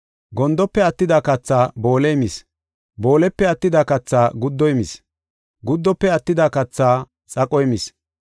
Gondofe attida kathaa booley mis; boolepe attida kathaa guddoy mis; guddofe attida kathaa xaqoy mis.